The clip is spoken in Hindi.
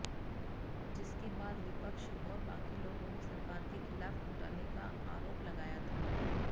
जिसके बाद विपक्ष आैर बाकी लोगों ने सरकार के खिलाफ घोटाले का आरोन लगाया था